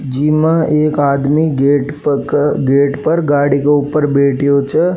जिमा एक आदमी गेट पर गेट पर गाडी के ऊपर बैठियो छे।